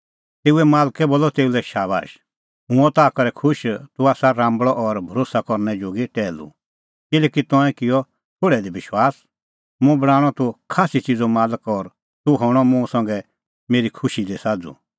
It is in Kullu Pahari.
तेऊए मालकै बोलअ तेऊ लै शाबाश हुंह हुअ ताह करै खुश तूह आसा राम्बल़अ और भरोस्सै करनै जोगी टैहलू किल्हैकि तंऐं किअ थोल़ै दी विश्वास मुंह बणांणअ तूह खास्सी च़िज़ो मालक और तूह हणअ मुंह संघै मेरी खुशी दी साझ़ू